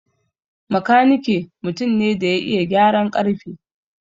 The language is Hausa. Makanike mutum ne da ya iya gyaran ƙarfe.